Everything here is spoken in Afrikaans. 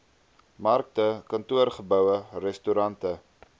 markte kantoorgeboue restaurante